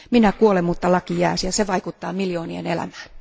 Minä kuolen, mutta laki jää ja se vaikuttaa miljoonien elämään